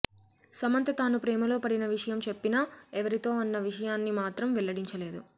సమంత తాను ప్రేమలో పడిన విషయం చెప్పినా ఎవరితో అన్న విషయాన్ని మాత్రం వెల్లడించలేదు